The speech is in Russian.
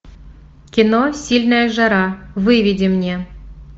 кино сильная жара выведи мне